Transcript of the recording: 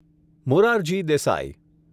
Morarji Desai